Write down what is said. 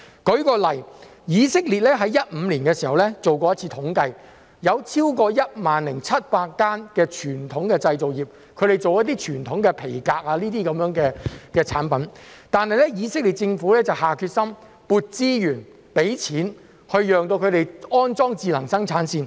舉例來說，以色列在2015年時曾做一次統計，有超過 10,700 間傳統製造業，是製作傳統皮革產品的，但以色列政府下決心撥資源、資金，供他們安裝智能生產線。